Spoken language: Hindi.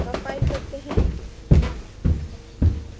compile करते हैं